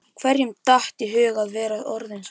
Hverjum datt í hug að þú værir orðinn svona